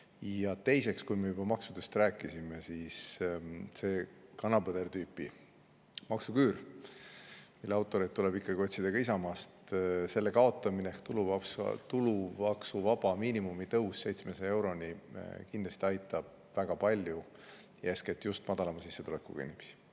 Ja teiseks, kui me juba maksudest rääkisime, siis selle kana-põder-tüüpi maksuküüru kaotamine – selle maksuküüru autoreid tuleb ikkagi otsida ka Isamaast – ja tulumaksuvaba miinimumi tõus 700 euroni aitab väga palju ja eeskätt just madalama sissetulekuga inimesi.